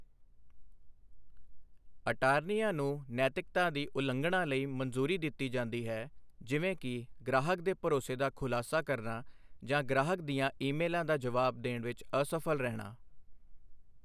ਅਟਾਰਨੀਆਂ ਨੂੰ ਨੈਤਿਕਤਾ ਦੀ ਉਲੰਘਣਾ ਲਈ ਮਨਜ਼ੂਰੀ ਦਿੱਤੀ ਜਾਂਦੀ ਹੈ, ਜਿਵੇਂ ਕਿ ਗ੍ਰਾਹਕ ਦੇ ਭਰੋਸੇ ਦਾ ਖੁਲਾਸਾ ਕਰਨਾ ਜਾਂ ਗ੍ਰਾਹਕ ਦੀਆਂ ਈਮੇਲਾਂ ਦਾ ਜਵਾਬ ਦੇਣ ਵਿੱਚ ਅਸਫਲ ਰਹਿਣਾ।